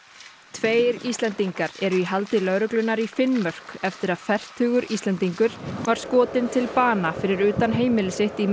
tveir Íslendingar eru í haldi lögreglunnar í Finnmörk eftir að fertugur Íslendingur var skotinn til bana fyrir utan heimili sitt í